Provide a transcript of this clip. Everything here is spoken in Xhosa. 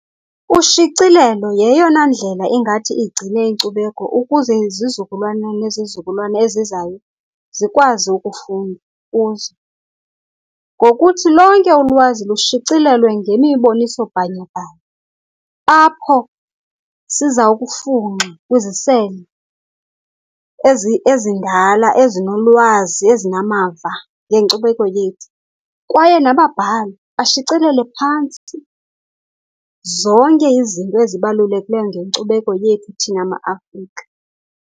Ushicilelo yeyona ndlela engathi igcine inkcubeko ukuze izizukulwana nezizukulwana ezizayo zikwazi ukufunda kuzo ngokuthi lonke ulwazi lushicilelwe ngemiboniso-bhanyabhanya apho siza kufunxa kwizisele ezindala, ezinolwazi, ezinamava ngenkcubeko yethu. Kwaye nababhali bashicelele phantsi zonke izinto ezibalulekileyo ngenkcubeko yethu thina maAfrika.